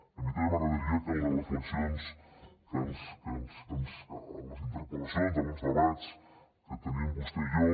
a mi també m’agradaria que en les reflexions ens les interpel·lacions en els debats que tenim vostè i jo